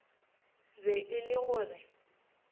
be e le go re